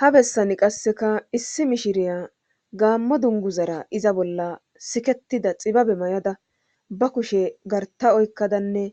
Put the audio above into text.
ha bessani qasseka issi mishiriya gaammo dungu zara iza bolla siketida xibabe may7ada ba kushe garta oykkadanne